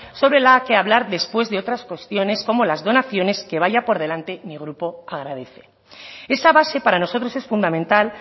sobre la que hablar después de otras cuestiones como las donaciones que vaya por delante mi grupo agradece esa base para nosotros es fundamental